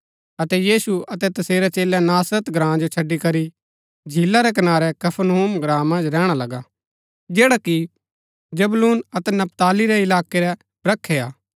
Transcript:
अतै यीशु अतै तसेरै चेलै नासरत ग्राँ जो छड़ी करी झीला रै कनारै कफरनहूम ग्राँ मन्ज रैहणा लगा जैडा कि जबूलून अतै नपताली रै इलाकै रै ब्रखै हा